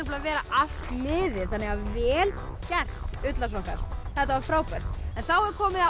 að vera allt liðið þannig að vel gert ullarsokkar þetta var frábært en þá er komið að